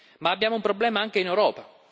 Ma abbiamo un problema anche in Europa